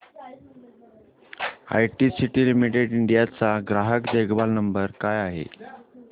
ITC limited India चा ग्राहक देखभाल नंबर काय आहे